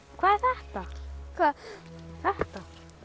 hvað er þetta hvað þetta þetta